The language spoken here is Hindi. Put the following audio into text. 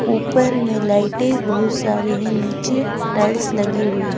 ऊपर में लाइटें बहुत सारी है नीचे टाइल्स लगी हुई है।